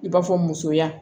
I b'a fɔ musoya